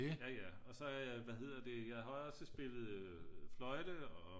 jaja og så har jeg hvad hedder det jeg har også spillet fløjte og